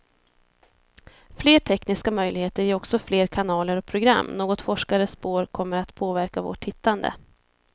Fler tekniska möjligheter ger också fler kanaler och program, något forskare spår kommer att påverka vårt tittande.